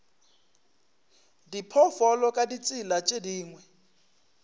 diphoofolo ka ditsela tše dingwe